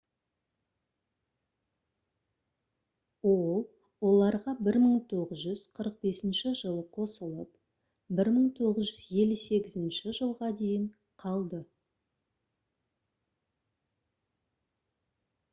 ол оларға 1945 жылы қосылып 1958 жылға дейін қалды